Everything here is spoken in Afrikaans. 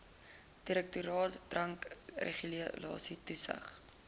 direktoraat drankregulasies toesig